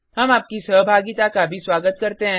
हम आपकी सहभागिता का भी स्वागत करते हैं